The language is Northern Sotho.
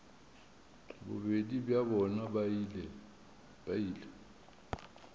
bobedi bja bona ba ile